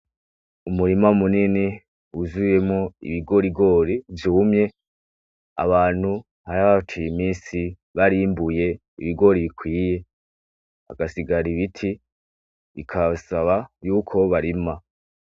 Umurima munini wuzuyemo ibigorigori vyumye abantu har hacuye imisi barimbuye ibigori bikwiye agasigara ibiti bikabbasaba yuko barima.